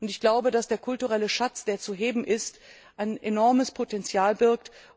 Ich glaube, dass der kulturelle Schatz, der zu heben ist, ein enormes Potenzial birgt.